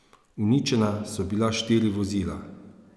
Uničena so bila štiri vozila.